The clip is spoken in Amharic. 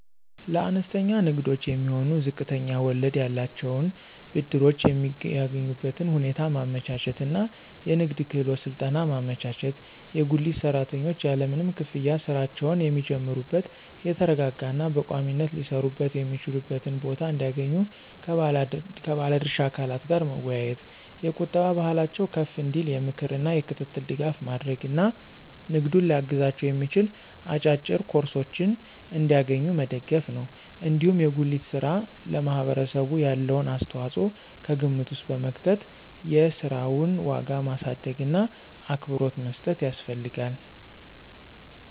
ለአነስተኛ ንግዶች የሚሆኑ ዝቅተኛ ወለድ ያላቸውን ብድሮች የሚያገኙበትን ሁኔታ ማመቻቸት እና የንግድ ክህሎት ስልጠና ማመቻቸት፣ የጉሊት ሰራተኞች ያለምንም ክፍያ ሥራቸውን የሚጀምሩበት የተረጋጋ እና በቋሚነት ሊሰሩበት የሚችሉበትን ቦታ እንዲያገኙ ከባለ ድርሻ አካላት ጋር መወያየት፣ የቁጠባ ባህላቸው ከፍ እንዲል የምክር እና የክትትል ድጋፍ ማድረግ እና ንግዱን ሊያግዛቸው የሚችል አጫጭር ኮርሶችን እንዲያገኙ መደገፍ ነው። እንዲሁም የጉሊት ሥራ ለማህበረሰቡ ያለውን አስተዋጽኦ ከግምት ውስጥ በመክተት የሥራውን ዋጋ ማሳደግእና አክብሮት መስጠት ያስፈልጋል።